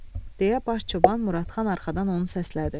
deyə baş çoban Muradxan arxadan onu səslədi.